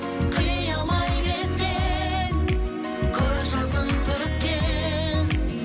қия алмай кеткен көз жасын төккен